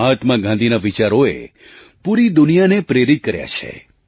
મહાત્મા ગાંધીના વિચારોએ પૂરી દુનિયાને પ્રેરિત કર્યા છે